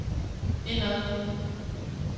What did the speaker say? indad